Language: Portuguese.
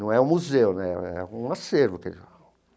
Não é um museu né, é é um acervo que eles falam.